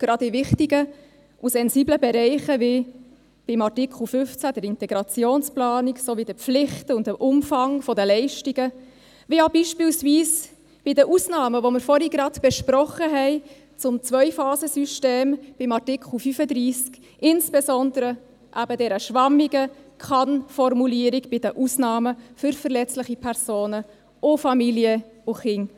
Gerade in wichtigen und sensiblen Bereichen wie in Artikel 15, der Integrationsplanung sowie bei den Pflichten und dem Umfang der Leistungen und auch beispielsweise bei den Ausnahmen, welche wir vorhin zum Zwei-Phasen-System in Artikel 35 besprochen haben, insbesondere bei der schwammigen Kann-Formulierung bei den Ausnahmen für verletzliche Personen und Familien und Kindern.